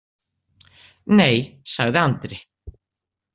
Nei, sagði Andri.